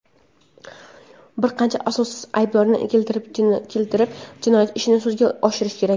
bir qancha asossiz ayblovlarni keltirib jinoyat ishini sudga oshirishi kerak?.